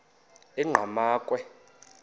enqgamakhwe